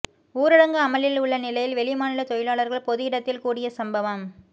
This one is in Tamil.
ஊரடங்கு அமலில் உள்ள நிலையில் வெளிமாநில தொழிலாளர்கள் பொது இடத்தில் கூடிய சம்பவம்